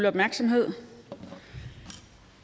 opmærksomhed